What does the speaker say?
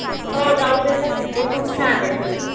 हो. जाऊ देतात तिथे. खूप छान आहे ते.